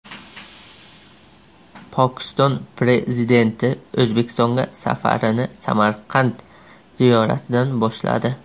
Pokiston Prezidenti O‘zbekistonga safarini Samarqand ziyoratidan boshladi.